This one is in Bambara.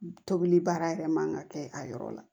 Tobili baara yɛrɛ man ka kɛ a yɔrɔ la